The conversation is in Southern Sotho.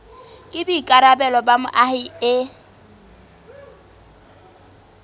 ke boikarabelo ba moahi e